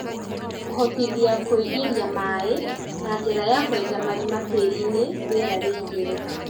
Kũhotithia kũingĩria maĩ na njĩra ya kwenja marima tĩriinĩ rĩera rĩingĩre